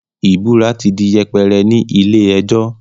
ìbúra ti di yẹpẹrẹ ní ilé ẹjọ́.